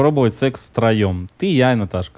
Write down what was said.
попробовать секс втроём ты я и наташка